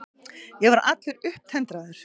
Ég var allur upptendraður.